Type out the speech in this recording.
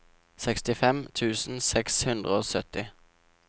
sekstifem tusen seks hundre og sytti